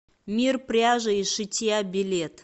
мир пряжи и шитья билет